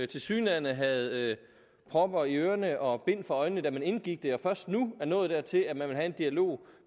tilsyneladende havde propper i ørerne og bind for øjnene da man indgik aftalen og først nu er nået dertil at man vil have en dialog